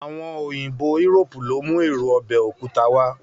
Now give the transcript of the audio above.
Àwọn òyìnbó Europe ló mú èro ọbẹ̀ òkúta wá